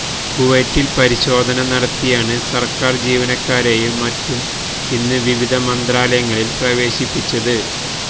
കുവൈത്തിൽ പരിശോധന നടത്തിയാണ് സർക്കാർ ജീവനക്കാരെയും മറ്റും ഇന്ന് വിവിധ മന്ത്രാലയങ്ങളിൽ പ്രവേശിപ്പിച്ചത്